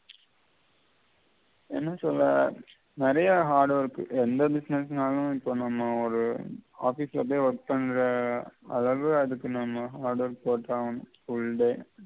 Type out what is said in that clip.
என்ன சொல்ல நெறைய hard work எந்த business நாலும் இப்ப நம்ம ஒரு office அப்படியே work பண்ற அதாவது அதுக்கு நம்ம order போட்டாகணும் full day